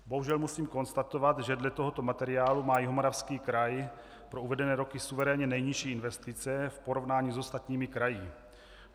Bohužel musím konstatovat, že dle tohoto materiálu má Jihomoravský kraj pro uvedené roky suverénně nejnižší investice v porovnání s ostatními kraji.